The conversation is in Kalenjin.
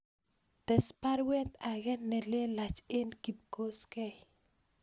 Tes baruet ake nelelach en kipkoskei